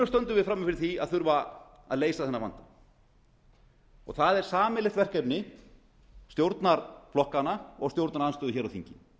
stöndum við frammi fyrir því að þurfa að leysa þennan vanda það er sameiginlegt verkefni stjórnarflokkanna og stjórnarandstöðu á þingi